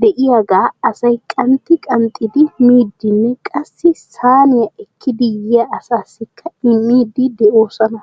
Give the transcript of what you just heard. de'iyaaga asay qanxxi qanxxidi miidinne qassi saaniya ekkidi yiyya asassikka immiidi de'oosona.